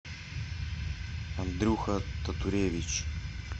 андрюха татуревич